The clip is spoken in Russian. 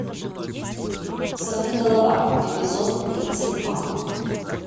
сорви голова эпизод тридцать два